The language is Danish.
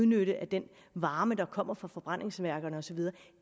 nytte af den varme der kommer fra forbrændingsværkerne og så videre